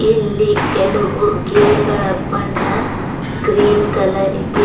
ಇಲ್ಲಿ ಕೆಲವು ಗಿಳಿಗಳ ಬಣ್ಣ ಗ್ರೀನ್ ಕಲರ್ ಇದೆ.